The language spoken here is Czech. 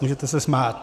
Můžete se smát.